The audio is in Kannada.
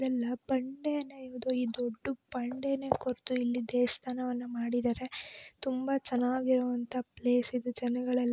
ಬಂಡೇ ನಾ ದೊಡ್ಡ ಬಂಡೇನ ಕೊರ್ದು ಇಲ್ಲಿ ದೇವಸ್ಥಾನವನ್ನ ಮಾಡಿದರೆ ತುಂಬಾ ಚನ್ನಾಗಿರೋವಂತ ಪ್ಲೇಸ್ ಇದು ಜನಗಳೆಲ್ಲ-